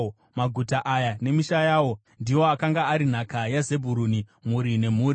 Maguta aya nemisha yawo ndiwo akanga ari nhaka yaZebhuruni, mhuri nemhuri.